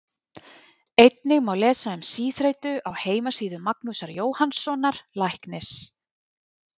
einnig má lesa um síþreytu á heimasíðu magnúsar jóhannssonar læknis